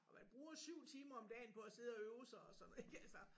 Og man bruger 7 timer om dagen på at sidde og øve sig og sådan ik altså